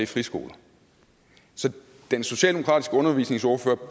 friskoler så den socialdemokratiske undervisningsordfører